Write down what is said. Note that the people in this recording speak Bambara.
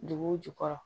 Duguw jukɔrɔ